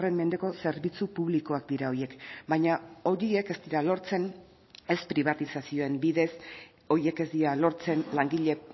mendeko zerbitzu publikoak dira horiek baina horiek ez dira lortzen ez pribatizazioen bidez horiek ez dira lortzen langile